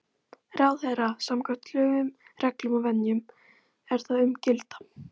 ráðherra samkvæmt lögum, reglum og venjum, er þar um gilda.